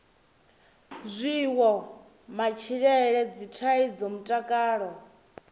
zwiwo matshilele dzithaidzo mutakalo